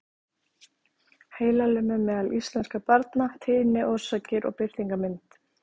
Heilalömun meðal íslenskra barna- tíðni, orsakir og birtingarmynd.